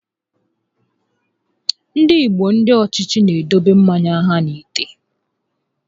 Ndị igbo ndị ochie n'edokwa mmanya ha n'ite